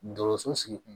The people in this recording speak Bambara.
Dɔgɔso sigi kun